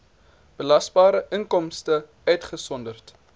belasbare inkomste uitgesonderd